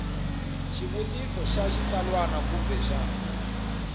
xivutiso xa xitsalwana kumbe xa